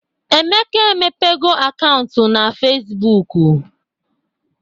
Emeka emepego akaụntụ na Fecibooku.